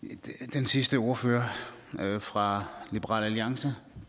den sidste ordfører fra liberal alliance